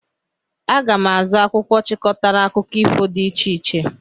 Aga m azụ akwụkwọ chịkọtara akụkọ ifo dị iche iche.